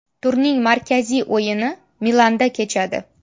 Turning markaziy o‘yini Milanda kechadi.